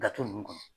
Gafe ninnu kɔnɔ